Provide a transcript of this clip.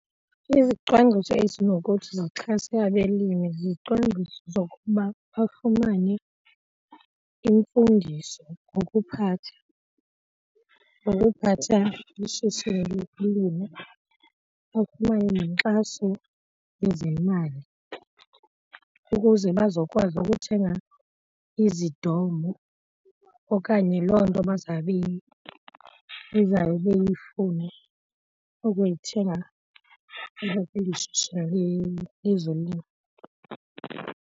Izicwangciso ezinokuthi zixhase abelimi zizicwangciso zokuba bafumane imfundiso ngokuphatha, ngokuphatha ishishini lokulima bafumane nenkxaso yezemali ukuze bazokwazi ukuthenga izidomo okanye loo nto bazawube, bezawube beyifuna ukuyithenga apha kweli shishini lezolimo.